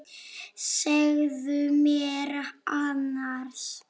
Segðu mér annars.